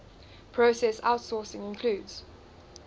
process outsourcing includes